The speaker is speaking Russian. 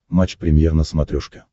матч премьер на смотрешке